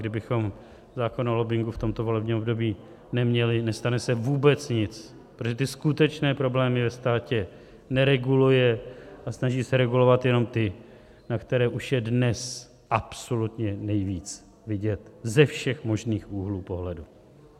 Kdybychom zákon o lobbingu v tomto volebním období neměli, nestane se vůbec nic, protože ty skutečné problémy ve státě nereguluje a snaží se regulovat jenom ty, na které už je dnes absolutně nejvíc vidět ze všech možných úhlů pohledu.